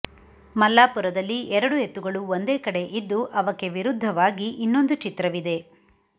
ಮಲ್ಲಾಪುರದಲ್ಲಿ ಎರಡು ಎತ್ತುಗಳು ಒಂದೇ ಕಡೆ ಇದ್ದು ಅವಕ್ಕೆ ವಿರುದ್ಧವಾಗಿ ಇನ್ನೊಂದು ಚಿತ್ರವಿದೆ